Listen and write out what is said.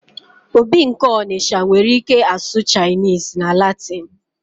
obi nke Onitsha nwere ike asụ Chinese na Latin